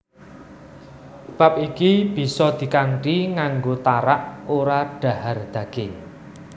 Bab iki bisa dikanthi nganggo tarak ora dhahar daging